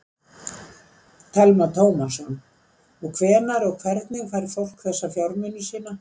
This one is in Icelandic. Telma Tómasson: Og hvenær og hvernig fær fólk þessa fjármuni sína?